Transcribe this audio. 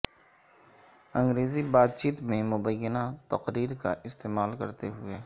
انگریزی بات چیت میں مبینہ تقریر کا استعمال کرتے ہوئے